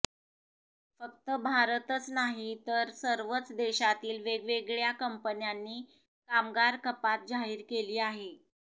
फक्त भारतच नाही तर सर्वच देशातील वेगवेगळ्या कंपन्यांनी कामगार कपात जाहीर केली आहे